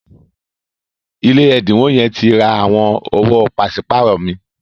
ilé ẹdinwo yen ti rà àwọn owo paṣipaarọ mi.